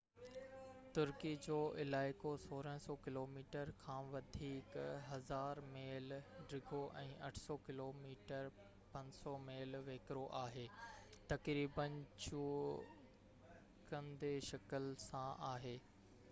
ترڪي جو علائقو 1,600 ڪلوميٽرن کان وڌيڪ 1،000 ميل ڊگهو ۽ 800 ڪلوميٽر 500 ميل ويڪرو آهي، تقريبن چوڪنڊي شڪل سان آهي